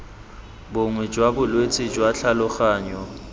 bongwe jwa bolwetse jwa tlhaloganyo